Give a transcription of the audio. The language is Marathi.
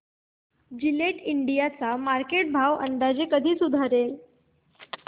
जिलेट इंडिया चा मार्केट भाव अंदाजे कधी सुधारेल